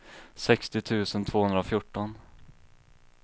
sextio tusen tvåhundrafjorton